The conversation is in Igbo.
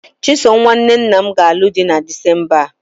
Chisom nwanne nna m ga-alụ di na Disemba a.